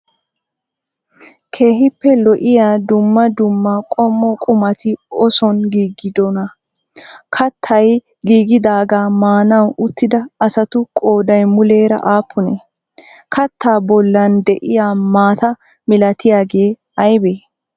keehippe lo7iya duummaa duummaa qommoo qummati oson giggidonaa? kattay giggidaaga maanawu uttida asatu qodday muleraa appune? kattaa bollan de7iya maataa milatiyagee aybee?